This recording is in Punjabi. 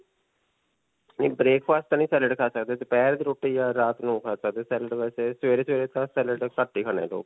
ਨਹੀਂ breakfast 'ਚ ਤੇ ਨਹੀਂ salad ਖਾ ਸਕਦੇ. ਦੋਪਿਹਰ ਦੀ ਰੋਟੀ ਜਾਂ ਰਾਤ ਨੂੰ ਖਾ ਸਕਦੇ ਹਾਂ. salad ਵੈਸੇ ਸਵੇਰੇ-ਸਵੇਰੇ ਤਾਂ salad ਘੱਟ ਹੀ ਖਾਂਦੇ ਲੋਕ.